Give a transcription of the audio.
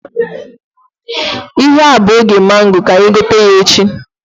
Ihe a bụ oge mango, ka anyị gote ya echi